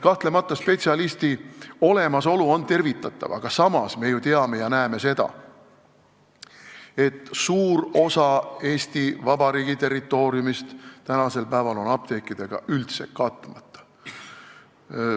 Kahtlemata on spetsialisti olemasolu apteegis tervitatav, aga samas me ju teame ja näeme seda, et suur osa Eesti Vabariigi territooriumist on praegu üldse apteekidega katmata.